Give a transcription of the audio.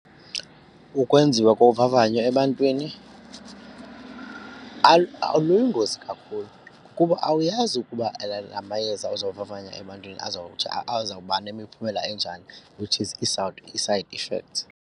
Ukwenziwa kovavanyo ebantwini luyingozi kakhulu kukuba awuyazi ukuba la la mayeza ozowavavanya ebantwini azawuthi azawuba nemiphumela enjani which is ii-side effects.